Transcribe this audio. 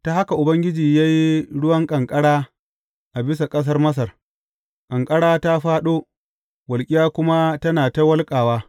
Ta haka Ubangiji ya yi ruwan ƙanƙara a bisa ƙasar Masar; ƙanƙara ta fāɗo, walƙiya kuma tana ta wulƙawa.